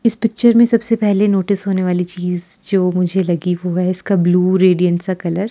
इस पिक्चर में सबसे पहले नोटिस होने वाली चीज जो मुझे लगी वो है इसका ब्ल्यू रेडियन सा कलर ।